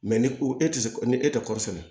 ni ko e tɛ se ni e tɛ kɔɔri sɛnɛ